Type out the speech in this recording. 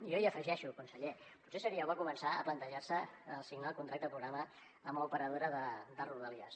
jo hi afegeixo conseller potser seria bo començar a plantejar se signar el contracte programa amb l’operadora de rodalies